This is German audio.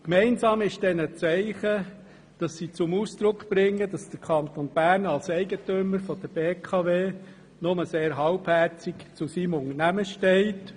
Gemeinsam ist diesen Zeichen, dass sie zum Ausdruck bringen, dass der Kanton Bern als Eigentümer der BKW nur sehr halbherzig zu seinem Unternehmen steht.